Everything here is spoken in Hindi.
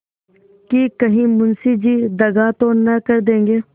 कि कहीं मुंशी जी दगा तो न देंगे